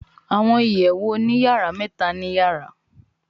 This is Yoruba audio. Àwọn ìyèwù òní-yara méta ní yàrá